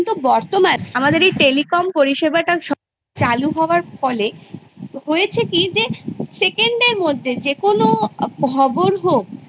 আরো অন্য রকমের অভিজ্ঞতা আমরা নিজেদের মধ্যে সেটা গ্রহণ করতে পারি ছোটোবেলায় যখন আমরা কোনো শিক্ষা ব্যবস্থার সঙ্গে যুক্ত থাকি তখন সেই শিক্ষাব্যবস্থাগুলো মূলত অনেক কিছু শেখায়